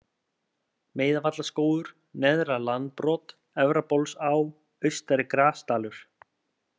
Meiðavallaskógur, Neðra-Landbrot, Efrabólsá, Austari-Grasdalur